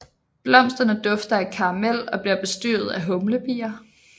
Blomsterne dufter af karamel og bliver bestøvet af humlebier